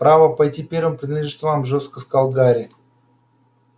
право пойти первым принадлежит вам жёстко сказал гарри